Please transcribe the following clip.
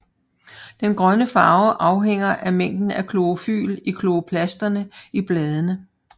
Den grønne farve afhænger af mængden af klorofyl i kloroplasterne i bladene